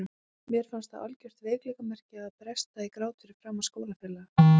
Mér fannst það algjört veikleikamerki að bresta í grát fyrir framan skólafélagana.